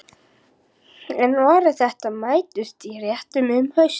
En varir þeirra mættust í réttum um haustið.